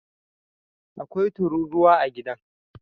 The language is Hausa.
Akwai tururuwa a gidan